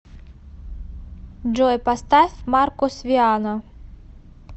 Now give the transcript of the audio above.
джой поставь маркус виана